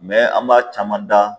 an m'a caman da